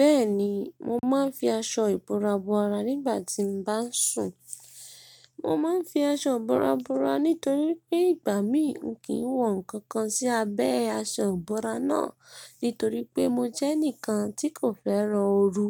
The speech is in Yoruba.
Bẹ́ẹ̀ni, mo máa ń fi aṣọ ìbora bora nígbà tí mo bá ń sùn. Mo máa ń fi aṣọ ìbora bora nítorí pé ìgbà mí ò kí ń wọ nǹkan kan sí abẹ́ aṣọ ìbora náà. Nítorí pé mo jẹ́ ẹnìkan tí kò fẹ́ran oru